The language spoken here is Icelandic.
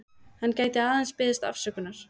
Hann gæti aðeins beðist afsökunar